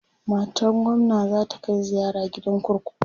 matan gwamna zata Kai ziyara gidan kurkuku